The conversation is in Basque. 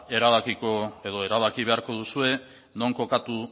erabakiko edo erabaki beharko duzue non kokatu